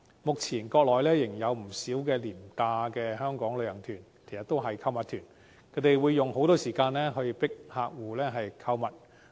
目前，國內仍有不少廉價的香港旅行團，其實都是購物團，他們會用很多時間強迫旅客購物。